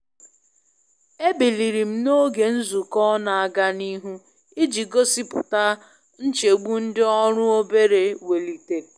E biliri m n'oge nzukọ n'aga nihu iji gosipụta nchegbu ndị ọrụ obere welitere.